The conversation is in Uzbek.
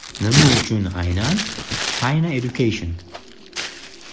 Nima uchun aynan China Education?